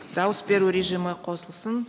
дауыс беру режимі қосылсын